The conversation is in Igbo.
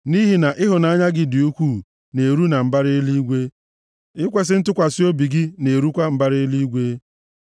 Nʼihi na ịhụnanya gị dị ukwuu na-eru na mbara eluigwe; ikwesi ntụkwasị obi gị na-erukwa mbara eluigwe.